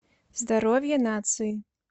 здоровье нации